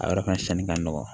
A yɔrɔ ka ca ni ka nɔgɔn